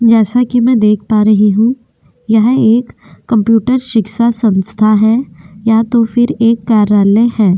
जैसा कि मैं देख पा रही हूं यह एक कंप्यूटर शिक्षा संस्था है या तो फिर एक कार्यालय है।